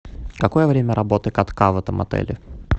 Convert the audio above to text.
какое время работы катка в этом отеле